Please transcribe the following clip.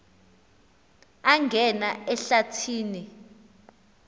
angena ehlathi ni